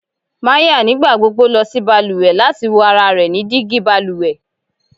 Maya nigbagbogbo lọ si baluwe lati wo ara rẹ ni digi baluwe